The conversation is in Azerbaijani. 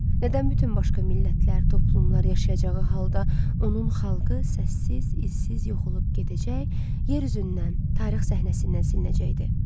Nədən bütün başqa millətlər, toplumlar yaşayacağı halda onun xalqı səssiz, izsiz yox olub gedəcək, yer üzündən, tarix səhnəsindən silinəcəkdi?